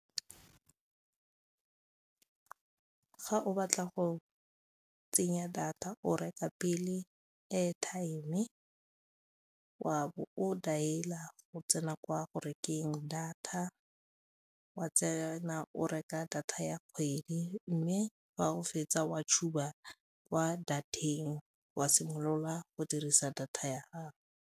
Ga o batla go tsenya data o reka pele airtime, wa bo o dialer go tsena kwa go rekeng data, wa tsena o reka data ya kgwedi mme fa go fetsa wa tshuba kwa data-eng wa simolola go dirisa data ya gago.